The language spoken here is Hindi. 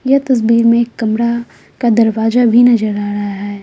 यह तस्वीर में एक कमरा का दरवाजा भी नजर आ रहा है।